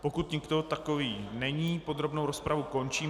Pokud nikdo takový není, podrobnou rozpravu končím.